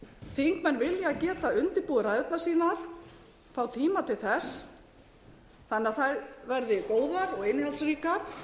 þingmenn vilja geta undirbúið ræðurnar sínar fá tíma til þess þannig að þær verði góðar og innihaldsríkar